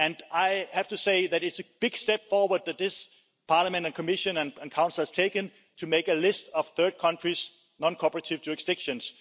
I have to say that it's a big step forward that this Parliament and Commission and Council has taken to make a list of third countries' non cooperative jurisdictions.